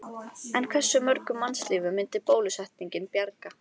En hversu mörgum mannslífum myndi bólusetningin bjarga?